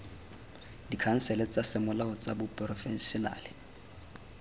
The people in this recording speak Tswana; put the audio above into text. dikhansele tsa semolao tsa baporofešenale